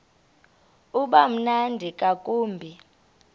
uba mnandi ngakumbi